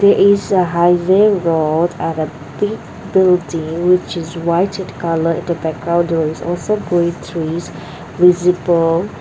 is a highway road and a big building which is white in colour in the background there is also green trees visible.